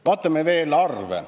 Vaatame veel arve.